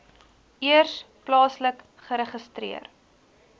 eers plaaslik geregistreer